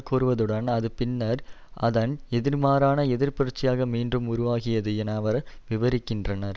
கூறுவதுடன் அது பின்னர் அதன் எதிர்மாறான எதிர்ப்புரட்சியாக மீண்டும் உருவாகியது என அவர் விபரிக்கின்றார்